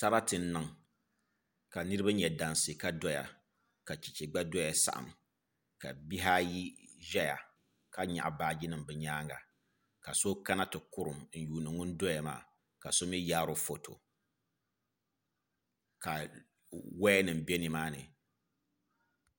Sarati n niŋ ka niraba nyɛ dansi ka doya ka chɛchɛ gba doya saɣam ka bihi ayi ʒɛya ka nyaɣa baaji nim bi nyaanga ka so kana ti kurim n yuundi ŋun doya maa ka so mii yaaro foto ka woya nim bɛ nimaani